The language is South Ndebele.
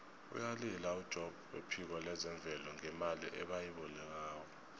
uyalila ujobb wephiko lezemvelo ngemali ebayilobako